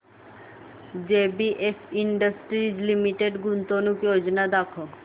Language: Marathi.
जेबीएफ इंडस्ट्रीज लिमिटेड गुंतवणूक योजना दाखव